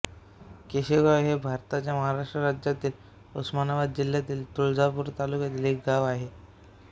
केशेगाव हे भारताच्या महाराष्ट्र राज्यातील उस्मानाबाद जिल्ह्यातील तुळजापूर तालुक्यातील एक गाव आहे